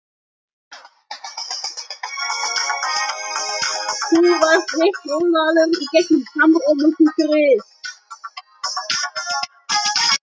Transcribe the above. En hvernig fara þeir að þessu?